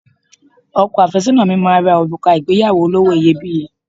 Ọkọ àfẹ́sọ́nà mi máa ra òrùka ìgbéyàwó olówó iyebíye